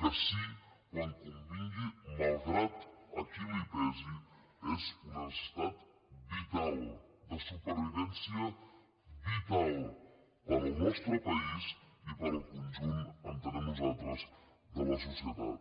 que sí quan convingui malgrat a qui li pesi és una necessitat vital de supervivència vitalconjunt entenem nosaltres de la societat